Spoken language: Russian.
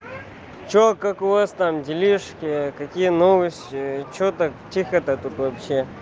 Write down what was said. что как у вас там делишки какие новости что так тихо то тут вообще